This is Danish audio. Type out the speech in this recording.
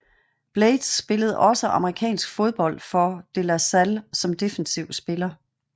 Blaydes spillede også amerikansk fodbold for De La Salle som defensiv spiller